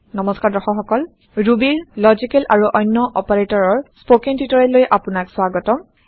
নমস্কাৰ দৰ্শক সকল Rubyৰ লজিকেল এএমপি অন্য Operatorsৰ স্পকেন টিওটৰিয়েল লৈ আপোনাক স্ৱাগতম